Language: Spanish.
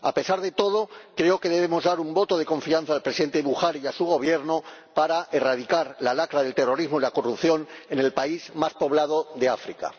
A pesar de todo, creo que debemos dar un voto de confianza al Presidente Buhari y a su gobierno en la erradicación de la lacra del terrorismo y la corrupción en el país más poblado de África.